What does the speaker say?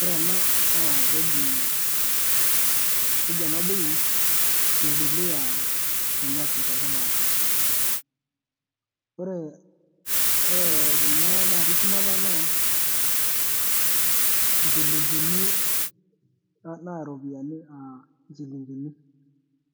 ore ena naa kejiii,,, keji ena buku bibilia sinyati te kimaasae, oree ore kuna naatii shumata naa nchilingini, naa ropiani aa nchilingini